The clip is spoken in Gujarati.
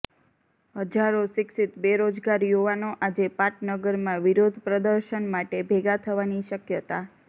હજારો શિક્ષિત બેરોજગાર યુવાનો આજે પાટનગરમાં વિરોધપ્રદર્શન માટે ભેગા થવાની શક્યતા